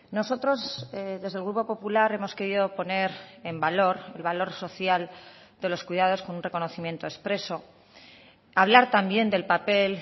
nosotros desde el grupo popular hemos querido poner en valor el valor social de los cuidados con un reconocimiento expreso hablar también del papel